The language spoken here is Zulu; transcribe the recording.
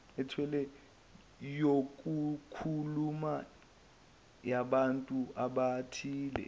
yokukhuluma yabantu abathile